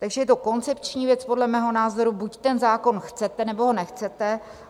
Takže je to koncepční věc, podle mého názoru buď ten zákon chcete, nebo ho nechcete.